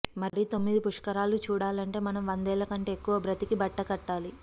మరి తొమ్మిది పుష్కరాలు చూడాలంటే మనం వందేళ్ళ కంటే ఎక్కువ బ్రతికి బట్టకట్టాలి